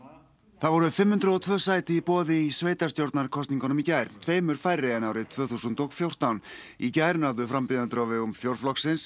það voru fimm hundruð og tvö sæti í boði í sveitarstjórnarkosningunum í gær tveimur færri en árið tvö þúsund og fjórtán í gær náðu frambjóðendur á vegum fjórflokksins